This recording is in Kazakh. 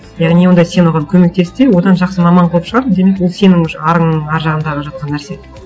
яғни онда сен оған көмектес те одан жақсы маман қылып шығар демек ол сенің уже арыңның ар жағындағы жатқан нәрсе